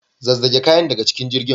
Zazzage kayan daga cikin jirgin.